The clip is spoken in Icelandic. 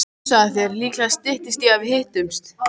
Hugsaðu þér, líklega styttist í að við hittumst.